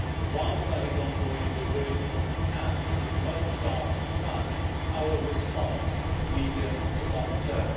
Whilst it is ongoing, we are doing what we can, but we must start to plan our response for the medium to long term.